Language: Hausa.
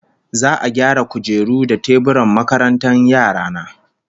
Za'a gyara kujeru da teburan makarantar yara na